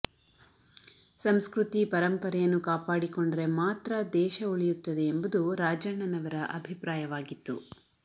ಸಂಸ್ಕೃತಿ ಪರಂಪರೆಯನ್ನು ಕಾಪಾಡಿಕೊಂಡರೆ ಮಾತ್ರ ದೇಶ ಉಳಿಯುತ್ತದೆ ಎಂಬುದು ರಾಜಣ್ಣನವರ ಅಭಿಪ್ರಾಯವಾಗಿತ್ತು